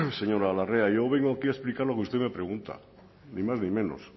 señora larrea yo vengo aquí a explicar lo que usted me pregunta ni más ni menos